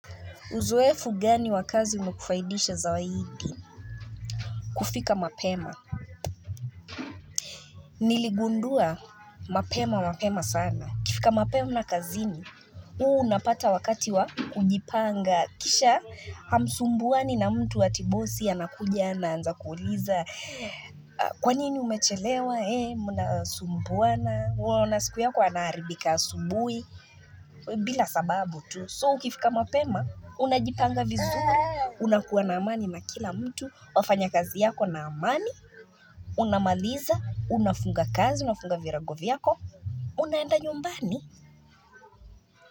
Uzoefu gani wa kazi umekufaidisha zaidi? Kufika mapema. Niligundua mapema, mapema sana. Ukifika mapema na kazini, uu unapata wakati wa kujipanga. Kisha, hamsumbuani na mtu ati bosi, anakujana, ananza kuuliza. Kwa nini umechelewa, ee, muna sumbuana. Unaona siku yako anaharibika asubuhi. Bila sababu tu. So, ukifika mapema, unajipanga vizuri. Unakuwa na amani na kila mtu, wafanya kazi yako na amani Unamaliza, unafunga kazi, unafunga virago vyako Unaenda nyumbani.